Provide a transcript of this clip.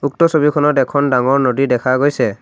উক্ত ছবিখনত এখন ডাঙৰ নদী দেখা গৈছে।